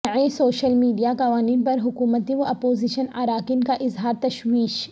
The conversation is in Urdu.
نئے شوشل میڈیا قوانین پر حکومتی و اپوزیشن اراکین کا اظہار تشویش